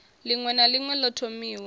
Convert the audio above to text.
ḽiṅwe na ḽiṅwe ḓo thomiwaho